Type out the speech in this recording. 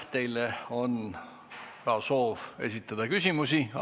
Teile soovitakse esitada ka küsimusi.